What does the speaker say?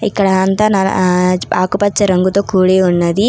ఇక్కడ అంతా ఆహ్ ఆకుపచ్చ రంగుతో కూడి ఉన్నది.